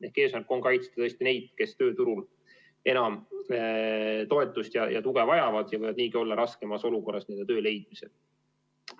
Ehk eesmärk on kaitsta tõesti neid, kes tööturul enam toetust ja tuge vajavad ning võivad niigi olla raskemas olukorras töö leidmisel.